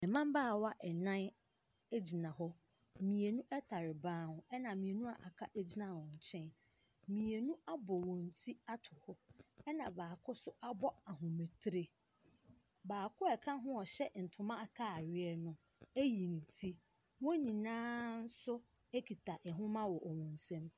Mmabaawa nnan gyina hɔ. Mmeini tare ban ho, ɛna mmienu a wɔaka gyina wɔn nkyɛn. Mmienu abɔ wɔn ti ato hɔ, ɛna baako nso abɔ ahomatire. Baako a ɔka ho a ɔhyɛ ntoma atadeɛ no ayi ne ti. Wɔn nyinaa nso kita nwoma wɔ wɔn nsam.